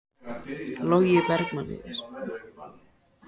Logi Bergmann Eiðsson: Hvað segirðu, Heimir?